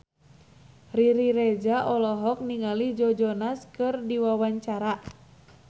Riri Reza olohok ningali Joe Jonas keur diwawancara